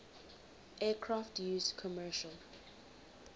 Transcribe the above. aircraft used commercial